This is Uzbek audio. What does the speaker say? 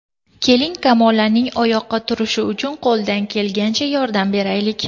Keling, Kamolaning oyoqqa turishi uchun qo‘ldan kelgunicha yordam beraylik!